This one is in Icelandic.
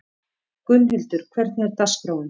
Gunnhildur, hvernig er dagskráin?